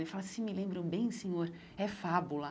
Ela fala, se me lembro bem, senhor, é Fábula.